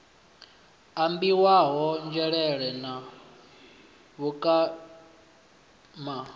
ambiwaho nzhelele ha kutama na